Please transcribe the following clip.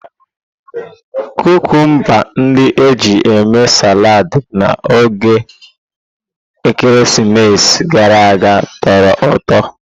Kukumba ndị e ji mee saladi na oge ekeresimesi gara aga tọrọ ụtọ.